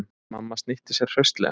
Mamma snýtti sér hraustlega.